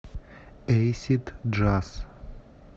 эйсид джаз